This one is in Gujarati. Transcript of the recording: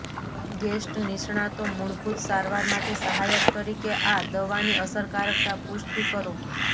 ગેસ્ટ નિષ્ણાતો મૂળભૂત સારવાર માટે સહાયક તરીકે આ દવાની અસરકારકતા પુષ્ટિ કરો